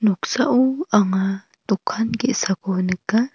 noksao anga dokan ge·sako nika.